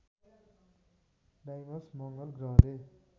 Deimos मङ्गल ग्रहले